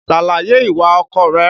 Ṣàlàyè ìwà ọkọ rẹ.